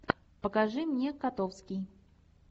покажи мне котовский